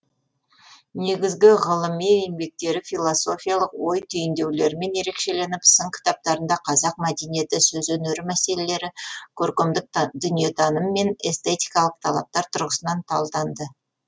негізгі ғылыми еңбектері философиялық ой түйіндеулерімен ерекшеленіп сын кітаптарында қазақ мәдениеті сөз өнері мәселелері көркемдік дүниетаным мен эстетикалық талаптар тұрғысынан талданды